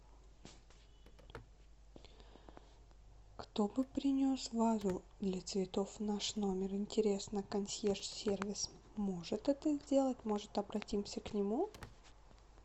кто бы принес вазу для цветов в наш номер интересно консьерж сервис может это сделать может обратимся к нему